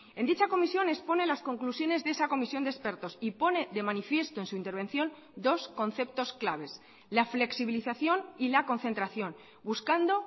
en dicha comisión expone las conclusiones de esa comisión de expertos y pone de manifiesto en su intervención dos conceptos claves la flexibilización y la concentración buscando